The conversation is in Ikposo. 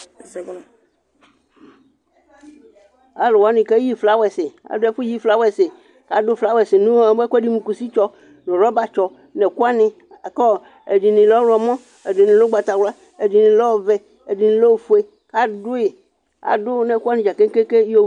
Alʋwani keyi flawɛsi adʋ ɛfʋyi flawɛsi kʋ adʋ flawɛsi nʋ ɛkʋɛdi mʋ kʋsitsɔ nʋ rɔbatsɔ nʋ ɛkʋwani lakʋ ɛdini lɛ ɔwlɔmɔ, ɛdini lɛ ʋgbatawla, ɛdini lɛ ɔvɛ, ɛdini lɛ ofue kʋ adʋ nʋ ɛkʋwani dza kekeke